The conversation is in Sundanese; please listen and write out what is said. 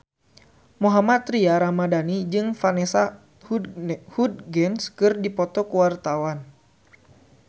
Mohammad Tria Ramadhani jeung Vanessa Hudgens keur dipoto ku wartawan